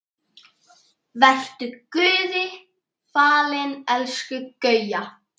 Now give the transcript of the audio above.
Vertu Guði falin elsku Gauja.